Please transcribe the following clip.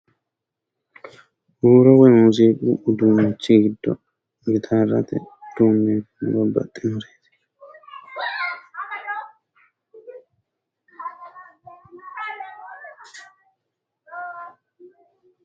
Huuro woy muziiqu uduunnichi giddo gitaarrate uduunneeti babbaxxinoreeti.